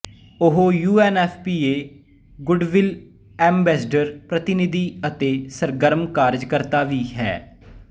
ਇਹ U N F P A goodwill ambassador ਪ੍ਰਤਿਨਿਧੀ ਅਤੇ ਸਰਗਰਮ ਕਾਰਜ ਕਰਤਾ ਵੀ ਹੈ